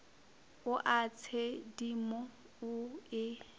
o a tshedimo o e